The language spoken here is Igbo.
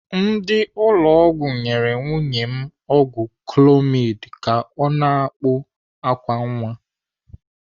Ndị ụlọ ọgwụ nyere nwunye m ọgwụ clomid ka ọ na-akpụ àkwá nwa.